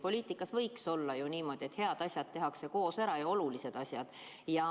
Poliitikas võiks ju olla niimoodi, et head asjad, olulised asjad tehakse koos ära.